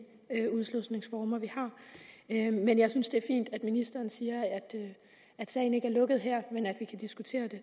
udslusningsformer vi har men jeg synes det er fint at ministeren siger at sagen ikke er lukket her men at vi kan diskutere det